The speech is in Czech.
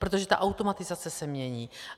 Protože ta automatizace se mění.